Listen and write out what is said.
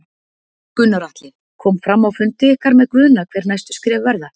Gunnar Atli: Kom fram á fundi ykkar með Guðna hver næstu skref verða?